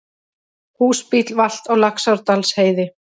Húsbíll valt á Laxárdalsheiði